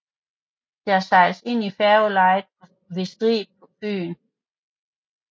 Der sejles ind i færgelejet ved Strib på Fyn